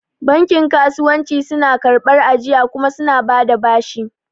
Bankin kasuwanci suna karɓar ajiya kuma suna bada bashi